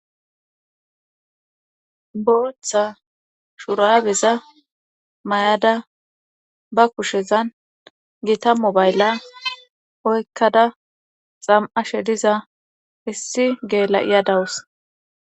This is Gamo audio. booththa shuraabeza mayada ba kushezan gita mobaylla oykkada xam'ashe diza hissi gela'iya dawus